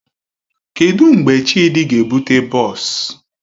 Kedụ mgbe Chidi ga-ebute bọọs?